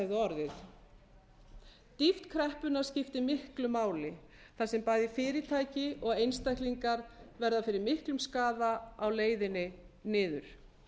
hefði orðið dýpt kreppunnar skiptir miklu máli þar sem bæði fyrirtæki og einstaklingar verða fyrir miklum skaða á leiðinni niður